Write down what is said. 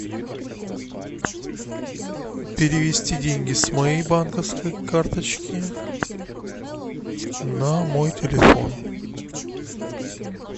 перевести деньги с моей банковской карточки на мой телефон